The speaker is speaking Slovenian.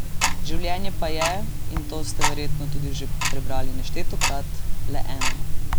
Življenje pa je, in to ste verjetno tudi že prebrali neštetokrat, le eno.